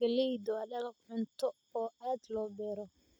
Galleydu waa dalag cunto oo aad loo beero.